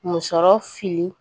Musɔrɔ siri